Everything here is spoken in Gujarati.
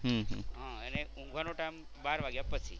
હા અને ઊંઘવાનો ટાઇમ બાર વાગ્યા પછી.